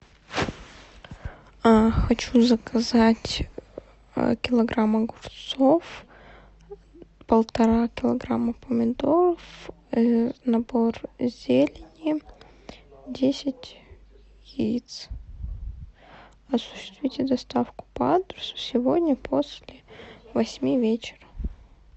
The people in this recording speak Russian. хочу заказать килограмм огурцов полтора килограмма помидоров набор зелени десять яиц осуществите доставку по адресу сегодня после восьми вечера